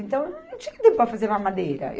Então, eu não tinha tempo para fazer mamadeira.